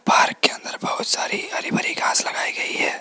Park के अंदर बहुत सारी हरी भरी घास लगाई गई है।